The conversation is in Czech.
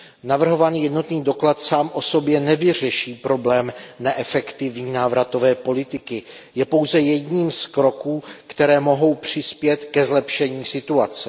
Navrhovaný jednotný doklad sám o sobě nevyřeší problém neefektivní návratové politiky, je pouze jedním z kroků, které mohou přispět ke zlepšení situace.